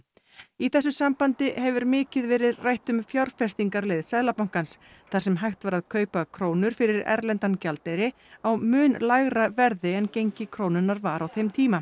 í þessu sambandi hefur mikið verið rætt um fjárfestingarleið Seðlabankans þar sem hægt var að kaupa krónur fyrir erlendan gjaldeyri á mun lægra verði en gengi krónunnar var á þeim tíma